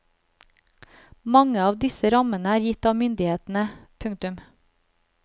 Mange av disse rammene er gitt av myndighetene. punktum